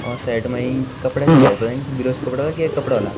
और साइड मा इन कपड़ा च सायद पतनी बिलोज क कपड़ा की येक कपड़ा ह्वोला।